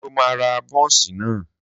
Sọ ma ra bónsì náà?